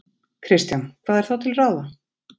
Kristján: Hvað er þá til ráða?